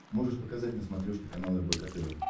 можешь показать на смотрешке канал рбк тв